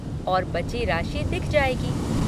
और बची राशि दिख जाएगी।